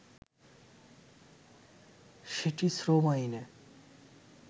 সেটি শ্রম আইনে